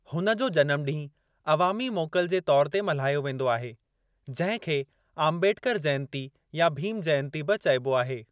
हुन जो जनम ॾींहुं अवामी मोकल जे तौर ते मल्हायो वेंदो आहे जंहिं खे आंबेडकर जयंती या भीम जयंती बि चइबो आहे।